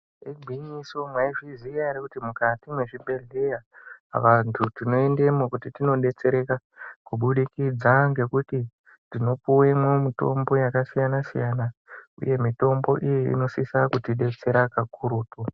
Igwinyiso maizviziva here kuti mukati mezvibhedhlera vantu mukati vanodetsereka kubudikidza tinopuwa mitombo yakasiyana siyana Uye mitombo iyi inosisa kuti detsera kakurutu.